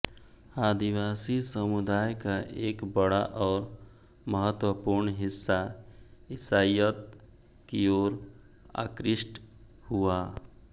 आदिवासी समुदाय का एक बड़ा और महत्वपूर्ण हिस्सा ईसाईयत की ओर आकृष्ट हुआ